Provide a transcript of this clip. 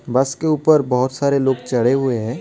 बस के ऊपर बहुत सारे लोग चढ़े हुए हैं.